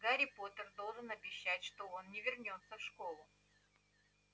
гарри поттер должен обещать что он не вернётся в школу